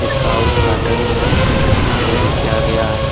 इसका उद्घाटन इधर ही किया गया है।